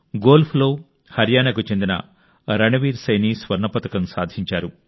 గోల్ఫ్లో హర్యానాకు చెందిన రణవీర్ సైనీ స్వర్ణ పతకం సాధించారు